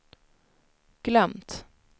glömt